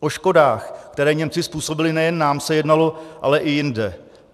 O škodách, které Němci způsobili nejen nám, se jednalo ale i jinde.